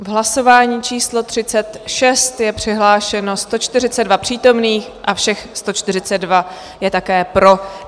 V hlasování číslo 36 je přihlášeno 132 přítomných a všech 132 je také pro.